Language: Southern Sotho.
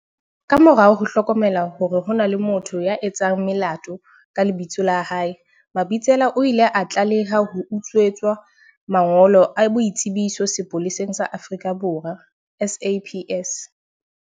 Ka morao ho hlokomela hore ho na le motho ya etsang melato ka lebitso la hae, Mabitsela o ile a tlaleha ho utswetswa mangolo a boitsebiso sepoleseng sa Afrika Borwa, SAPS.